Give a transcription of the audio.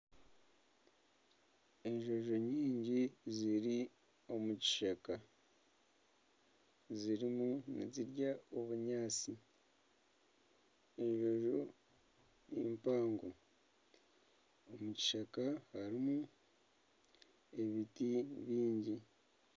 Enjojo nyingi ziri omu kishaka, zirimu nizirya obunyaatsi, enjojo ni mpango. Omu kishaka harimu ebiti bingi.